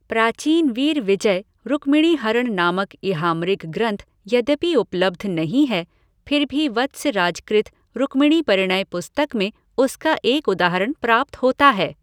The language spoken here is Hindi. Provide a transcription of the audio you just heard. प्राचीन वीरविजय रुक्मिणीहरण नामक ईहामृग ग्रन्थ यद्यपि उपलब्ध नहीं है फिर भी वत्सराज कृत रुक्मिणीपरिणय पुस्तक में उसका एक उदाहरण प्राप्त होता है।